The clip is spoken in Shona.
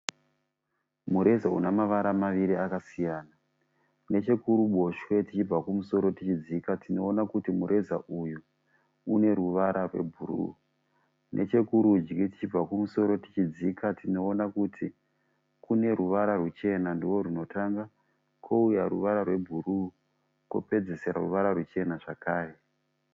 Mureza une mavara maviri akasiyana nechokuruboshwe tichibva kumusoro tichidzika tinoona kuti mureza uyu une ruvara rwebhuruu, nechekurudyi tichibva kumusoro tichidzika tinoona kuti kune ruvara rwuchena ndoorwunotanga, kouya ruvara rwebhuruu, kopedzisira ruvara ruchena zvakare.